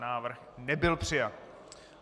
Návrh nebyl přijat.